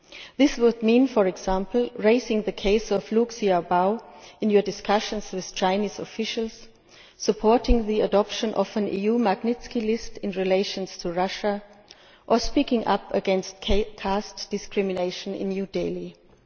This would mean, for example, raising the case of Liu Xiaobo in your discussions with Chinese officials, supporting the adoption of an EU Magnitsky list in relation to Russia or speaking up against caste discrimination in New Delhi.